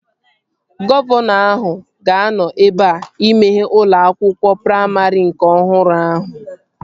Gọvanọ ahụ ga-anọ ebea imeghe ụlọ akwụkwọ praimarị nke ọhụrụ ahụ